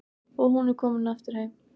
Og hún komin aftur heim.